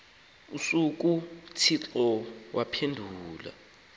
usuku uthixo waphumla